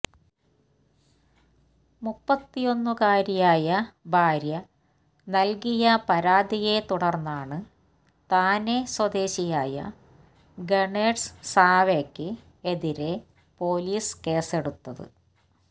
മുപ്പത്തിയൊന്നുകാരിയായ ഭാര്യ നല്കിയ പരാതിയെ തുടര്ന്നാണ് താനെ സ്വദേശിയായ ഗണേഷ് സാവെയ്ക്ക് എതിരെ പൊലീസ് കേസെടുത്തത്